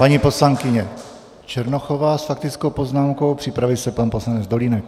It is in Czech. Paní poslankyně Černochová s faktickou poznámkou, připraví se pan poslanec Dolínek.